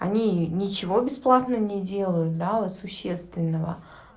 они ничего бесплатно не делают да вот существенного